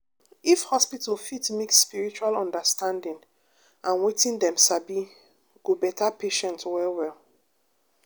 if hospital fit mix spiritual understanding and wetin dem sabi go better patient well well